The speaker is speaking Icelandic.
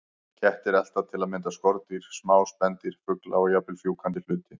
Kettir elta til að mynda skordýr, smá spendýr, fugla og jafnvel fjúkandi hluti.